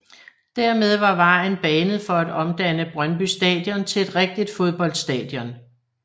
Dermed var vejen banet for at omdanne Brøndby Stadion til et rigtigt fodboldstadion